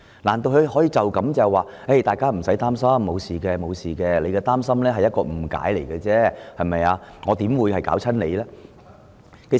難道他打算說道："大家無需擔心，沒事的，你們的擔心只是源於誤解，有關修訂怎麼會影響你們呢？